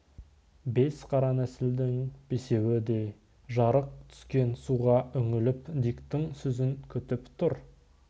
бес қара нәсілдінің бесеуі де жарық түскен суға үңіліп диктің сөзін күтіп тұр